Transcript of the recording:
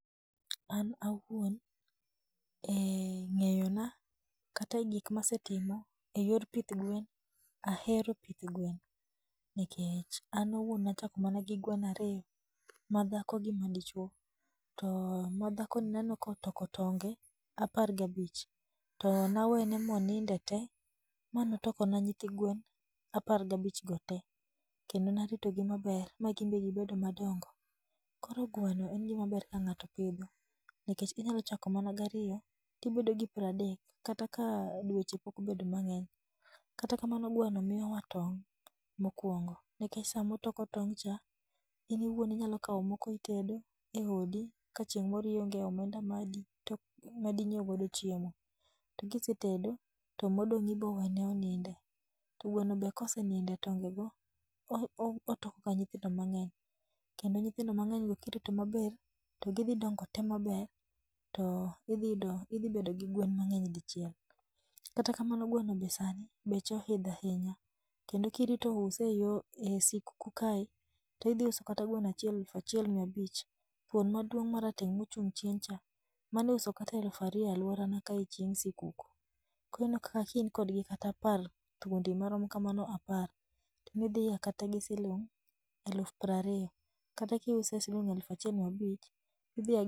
An awuon e ng'eyona kata e gik ma asetimo, e yor pith gwen ahero pith gwen, nikech an owuon ne achako mana gi gweno ariyo, ma dhako gi ma dichuo, to ma dhakoni ne aneno ka otoko tong'e apar gabich. To nawene ma oninde te ma ne otoko na nyithi gwen apar gabich go te, kendo narito gi maber ma gin be gibedo madongo. Koro gweno en gima ber ka ng'ato pidho, nikech inyalo chako mana gi ariyo to ibedo gi pradek, kata ka dweche pok obedo mang'eny. Kata kamano gweno miyowa tong' mokuongo. NIkech sama otoko tong' cha in iwuon inyalo kao noko itedo e odi kata ka chieng' moro ionge omenda ma di to madi nyieo godo chiemo. To kisetedo to modong' ibo wene oninde. To gweno be ka oseninde tonge go otoko ga nyithindo mang'eny, kendo nyithindo mang'eny go ka irito gi maber to gidhi dongo te maber to idhi yudo idhi bedo gi gwen mang'eny dichiel. Kata kamano gweno be sani beche oidho ahinya, kendo ka irito use e yo e sikuku kae, to idhi uso kata gweno achiel aluf achiel mia abich. Thuon maduong' marateng' ma ochung' chien cha mano iuso kata aluf ariyo e alworana kae chieng' sikuku. Koro ineno kaka ka in kodgi kata apar, thuondi marom kamano apar, tidhi ya kata gi siling' aluf piero ariyo, kata kiuse siling' aluf achiel mia abich adhi ya.